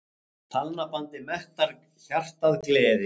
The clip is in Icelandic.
Talnabandið mettar hjartað gleði.